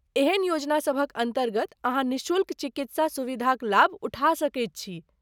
एहन योजना सभक अन्तर्गत अहाँ निःशुल्क चिकित्सा सुविधाक लाभ उठा सकैत छी।